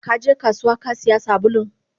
Kaje kasuwa Kasiya sabulun?